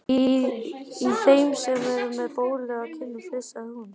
Í þeim sem er með bólu á kinninni flissaði hún.